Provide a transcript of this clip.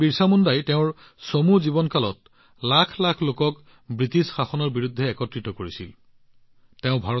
ভগৱান বিৰচা মুণ্ডাই তেওঁৰ চমু জীৱনকালত ব্ৰিটিছ শাসনৰ বিৰুদ্ধে লাখ লাখ লোকক একত্ৰিত কৰিছিল